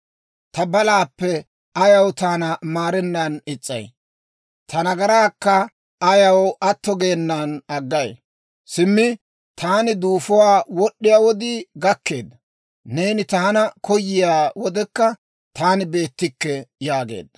Ta balaappe ayaw taana maarennan is's'ay? Ta nagaraakka ayaw atto geenan aggay? Simmi taani duufuwaa wod'd'iyaa wodii gakkeedda; neeni taana koyiyaa wodekka, taani beettikke» yaageedda.